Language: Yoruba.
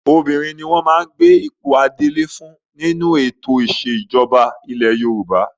Obìnrin ni wọ́n máa gbé ipò adelé fún nínú ètò ìṣẹ̀jọba ilẹ̀ Yorùbá.